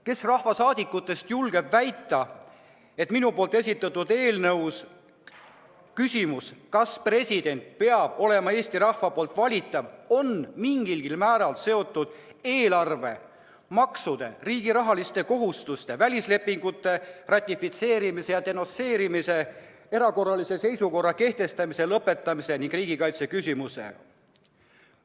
Kes rahvasaadikutest julgeb väita, et minu esitatud eelnõu küsimus, kas president peab olema Eesti rahva poolt valitav, on mingilgi määral seotud eelarve, maksude, riigi rahaliste kohustuste, välislepingute ratifitseerimise või denonsseerimise, erakorralise seisukorra kehtestamise või lõpetamise või riigikaitse küsimusega?